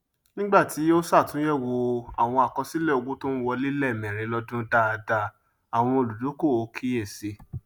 nígbàtí ó sàtúnyẹwò àwọn àkọsílẹ owó tó ń wọlé lẹẹmẹrin lọdún dáadá àwọn olùdókòwò kíyè sí